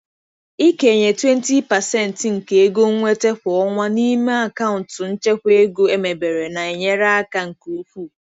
Ịkenye 20% nke ego nnweta kwa ọnwa n'ime akaụntụ nchekwa ego emebere na-enyere aka nke ukwuu.